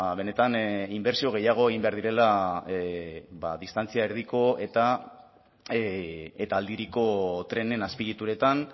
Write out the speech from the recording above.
benetan inbertsio gehiago egin behar direla distantzia erdiko eta aldiriko trenen azpiegituretan